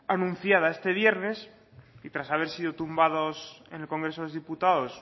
anunciada este viernes y tras haber sido tumbados en el congreso de los diputados